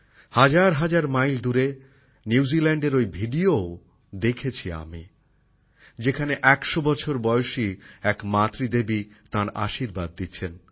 হাজারহাজার mile দূরে নিউজিল্যাণ্ডের ওই ভিডিওও দেখেছি যেখানে একশো বছর বয়সী এক মা আমাকে তাঁর আশীর্বাদ দিচ্ছেন